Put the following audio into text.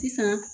Sisan